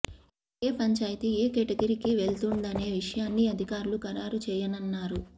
ఇక ఏ పంచాయతీ ఏ కేటగిరీకి వెళ్తుందనే విషయాన్ని అధికారులు ఖరారు చేయనున్నారు